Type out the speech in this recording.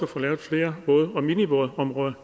få lavet flere våd og minivådområder